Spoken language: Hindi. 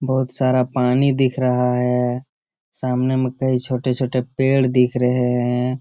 बहुत सारा पानी दिख रहा है सामने में कई छोटे-छोटे पेड़ दिख रहे हैं।